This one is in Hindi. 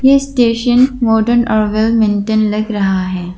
ये स्टेशन मॉडर्न और वेल मेंटेन लग रहा है।